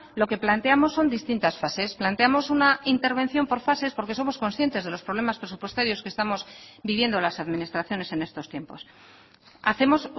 lo que planteamos son distintas fases planteamos una intervención por fases porque somos conscientes de los problemas presupuestarios que estamos viviendo las administraciones en estos tiempos hacemos